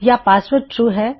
ਯਾ password true ਹੈ